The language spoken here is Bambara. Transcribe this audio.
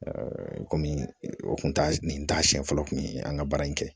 kɔmi o kun t'a nin t'a siɲɛ fɔlɔ tun ye an ka baara in kɛ